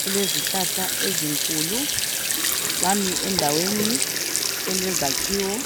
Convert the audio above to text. kulezihlahla ezinkulu bami endaweni elezakhiwo